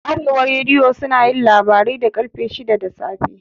Arewa rediyo sunayin labarai da ƙarfe shidan safe